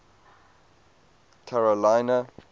carolina